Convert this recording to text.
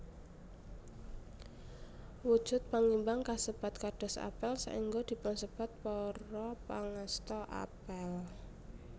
Wujud pangimbang kasebat kados apel saéngga dipunsebat Para Pangasta Apel